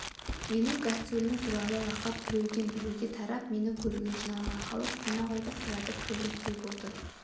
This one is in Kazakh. менің гастролім туралы лақап біреуден-біреуге тарап мені көруге жиналған халық қонақ үйді қиратып кірерліктей болды